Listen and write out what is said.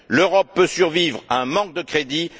L'Europe peut survivre à un manque de crédits